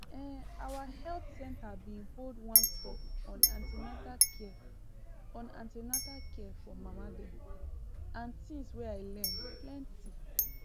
ehn our health center been hold one talk on an ten atal care on an ten atal care for mama dem and things wey i learn plenty